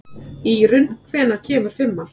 Írunn, hvenær kemur fimman?